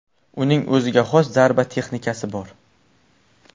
Uning o‘ziga xos zarba texnikasi bor.